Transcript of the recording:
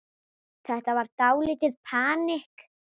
Þetta var dálítið panikk.